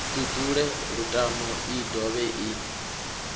ṱuṱule lutamo i dovhe i